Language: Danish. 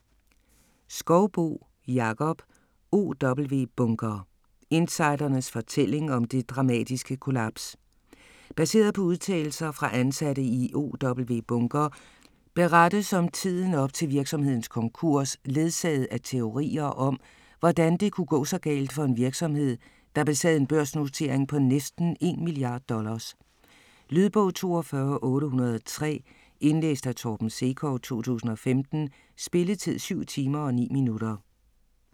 Skouboe, Jakob: OW Bunker: insidernes fortælling om det dramatiske kollaps Baseret på udtalelser fra ansatte i OW Bunker berettes om tiden op til virksomhedens konkurs ledsaget af teorier om, hvordan det kunne gå så galt for en virksomhed der besad en børsnotering på næsten en milliard dollars. Lydbog 42803 Indlæst af Torben Sekov, 2015. Spilletid: 7 timer, 9 minutter.